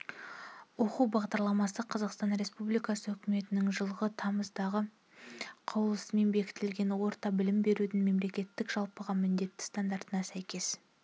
оқу бағдарламасы қазақстан республикасы үкіметінің жылғы тамыздағы қаулысымен бекітілген орта білім берудің мемлекеттік жалпыға міндетті стандартына сәйкес